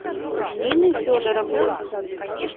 нины федоровны